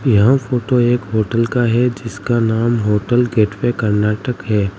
यह फोटो एक होटल का है जिसका नाम होटल गेट वे कर्नाटक है।